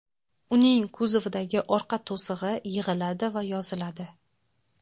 Uning kuzovidagi orqa to‘sig‘i yig‘iladi va yoziladi.